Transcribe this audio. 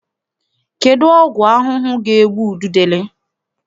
Kedụ ọgwụ ahụhụ ga-egbu ududele?